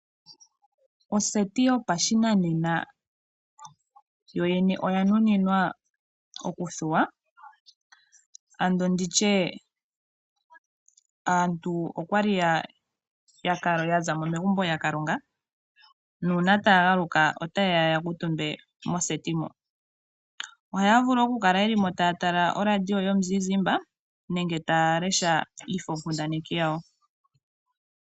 Oseti yopashinanena yoyene oya nuninwa okuthuwapo. Ngele aantu okwali ya zamo megumbo yakalonga ,sho ta ya galuka ota ya kuutumba megumbo moseti muka . Oha ya vulu okukala yeli mo taya tala oradio yomuzizimba nenge ta ya lesha iifo kundaneki yawo.